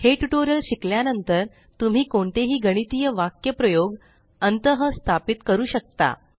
हे ट्यूटोरियल शिकल्यानंतर तुम्ही कोणतेही गणितीय वाक्यप्रयोग अंतःस्थापित करु शकता